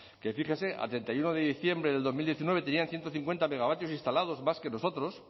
que fíjese a treinta y uno de diciembre del dos mil diecinueve tenían en ciento cincuenta megavatios instalados más que nosotros